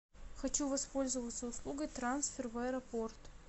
хочу воспользоваться услугой трансфер в аэропорт